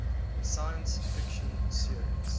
science fiction series